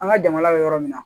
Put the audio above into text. An ka jamana bɛ yɔrɔ min na